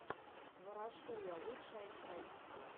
ворошуя лучшая часть